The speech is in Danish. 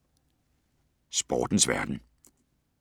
Sportens verden